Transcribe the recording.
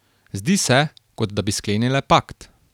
Zdi se, kot da bi sklenile pakt.